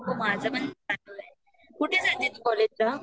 हो माझ पण चालू आहे कुठ जात तू कॉलेज ला